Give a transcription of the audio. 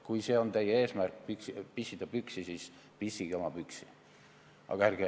Kui teie eesmärk on pissida püksi, siis pissige oma püksi!